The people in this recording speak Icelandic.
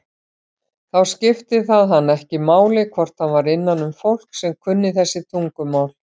Þá skipti það hann ekki máli hvort hann var innanum fólk sem kunni þessi tungumál.